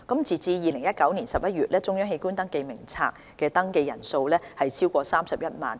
截至2019年11月，中央器官捐贈登記名冊的登記人數超過31萬。